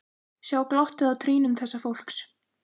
Sjá glottið á trýnum þessa fólks.